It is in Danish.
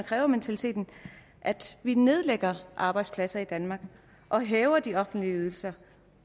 krævementaliteten at vi nedlægger arbejdspladser i danmark og hæver de offentlige ydelser